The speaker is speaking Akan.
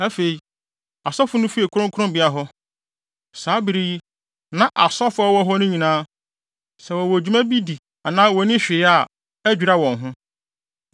Afei, asɔfo no fii kronkronbea hɔ. Saa bere yi, na asɔfo a wɔwɔ hɔ no nyinaa, sɛ wɔwɔ dwuma bi di anaa wonni hwee yɛ, adwira wɔn ho.